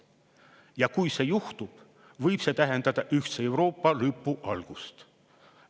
Ja kui see juhtub, võib see tähendada ühtse Euroopa lõpu algust.